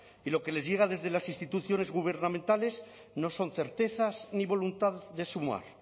y lo que les diga desde las instituciones gubernamentales no son certezas ni voluntad de sumar